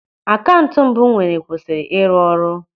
Akaụntụ mbụ m nwere kwụsịrị ịrụ ọrụ.